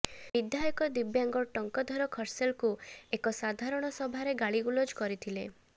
ବିଧାୟକ ଦିବ୍ୟାଙ୍ଗ ଟଙ୍କଧର ଖର୍ସେଲକୁ ଏକ ସାଧାରଣ ସଭାରେ ଗାଳି ଗୁଲଜ କରିଥିଲେ